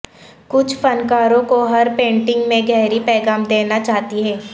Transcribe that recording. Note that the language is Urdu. کچھ فنکاروں کو ہر پینٹنگ میں گہری پیغام دینا چاہتی ہے